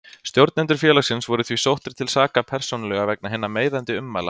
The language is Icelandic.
Stjórnendur félagsins voru því sóttir til saka persónulega vegna hinna meiðandi ummæla.